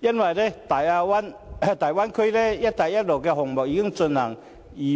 由於大灣區和"一帶一路"的項目已經進行得